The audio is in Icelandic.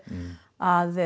að